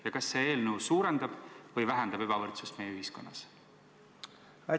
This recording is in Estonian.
Ja kas see eelnõu, kui see heaks kiidetakse, suurendab või vähendab ebavõrdsust meie ühiskonnas?